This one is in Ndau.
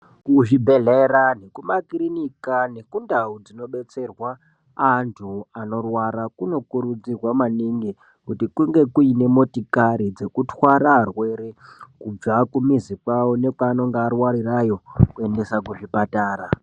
Kuzvibhedhlera nekumakirinika nekundau dzinodetserwa antu anorwara kunokurudzirwa maningi kuti kunge kuine motokari dzekutwara arwere kubva kwaanenge arwarirayo kuendesa kuzvipatara.